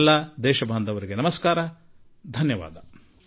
ನನ್ನ ದೇಶವಾಸಿಗಳೇ ಮತ್ತೊಮ್ಮೆ ನನ್ನ ನಮಸ್ಕಾರಗಳು ಧನ್ಯವಾದಗಳು